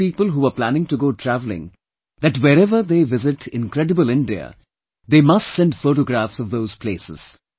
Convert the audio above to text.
I asked people who were planning to go travelling that whereever they visit 'Incredible India', they must send photographs of those places